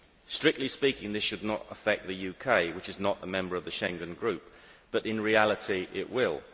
Strictly speaking, this should not affect the UK, which is not a member of the Schengen group, but in reality it will.